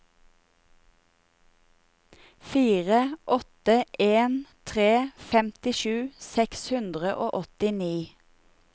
fire åtte en tre femtisju seks hundre og åttini